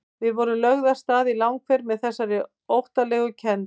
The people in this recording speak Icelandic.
Við vorum lögð af stað í langferð með þessari óttalegu kennd.